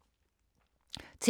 TV 2